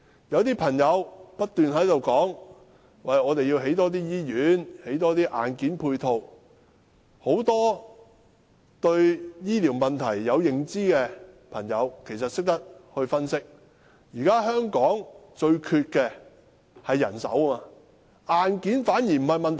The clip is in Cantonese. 有些人不斷說政府要多興建醫院，多興建硬件配套，但對醫療問題有認知的人分析，香港現在最缺乏的是人手，硬件反而不是問題。